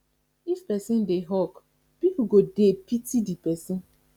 if persin de hawk pipo go de pity di persin